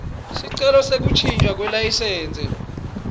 sicelo sekuntjintjwa kwelayisensi